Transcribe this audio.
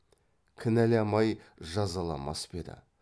кінәламай жазаламас па еді